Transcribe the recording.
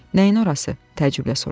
Nəyinə orası, təəccüblə soruşdum.